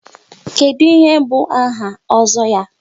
Kedụ ihe bụ áhà Ozo ya?